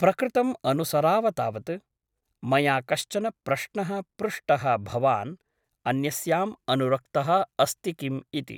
प्रकृतम् अनुसराव तावत् । मया कश्चन प्रश्नः पृष्टः भवान् अन्यस्याम् अनुरक्तः अस्ति किम् इति ।